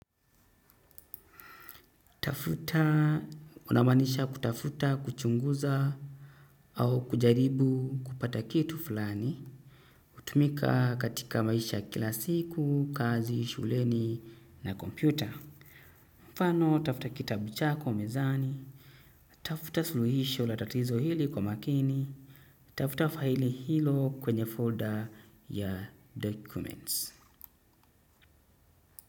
Tafuta, unamaanisha kutafuta, kuchunguza au kujaribu kupata kitu fulani. Hutumika katika maisha kila siku, kazi, shuleni na kompyuta. Mfano, tafuta kitabu chako mezani, tafuta suluhisho la tatizo hili kwa makini, tafuta faili hilo kwenye folder ya documents.